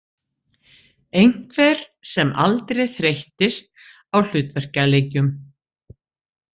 Einhver sem aldrei þreyttist á hlutverkaleikjum.